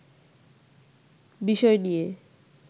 বিষয় নিয়ে